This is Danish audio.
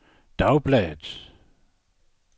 dagbladet